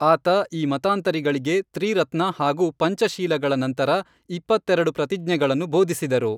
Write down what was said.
ಆತ ಈ ಮತಾಂತರಿಗಳಿಗೆ ತ್ರಿರತ್ನ ಹಾಗೂ ಪಂಚಶೀಲಗಳ ನಂತರ ಇಪ್ಪತ್ತೆರೆಡು ಪ್ರತಿಜ್ಞೆಗಳನ್ನು ಬೋಧಿಸಿದರು